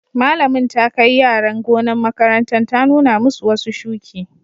Malamin ta kai yaran gonan' makarantan ta nuna masu wasu shuki.